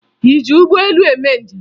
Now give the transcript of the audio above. Ị ji ụgbọelu eme njem?